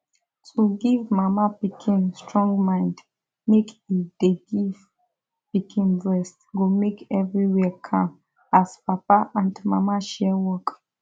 to give mama pikin strong mind make e dey give pikin breast go make everywhere calm as papa and mama share work